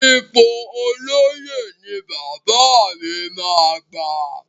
Ipò olóyè ni bàbá mi máa gbà.